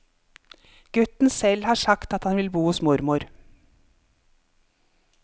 Gutten selv har sagt at han vil bo hos mormor.